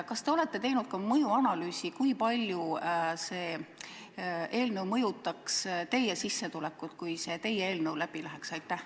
Kas te olete teinud ka mõjuanalüüsi, kui palju see eelnõu mõjutaks teie sissetulekut, kui see läbi läheks?